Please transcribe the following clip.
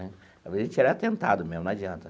Né a gente era atentado mesmo, não adianta.